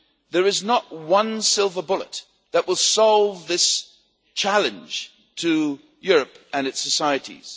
There is not one silver bullet that will solve this challenge to Europe and its societies.